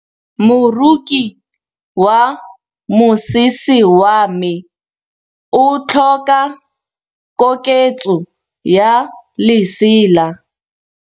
Moroki wa mosese wa me o tlhoka koketsô ya lesela.